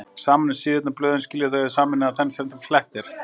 Saman um síðurnar blöðin skilja þau að og sameina í senn þegar flett er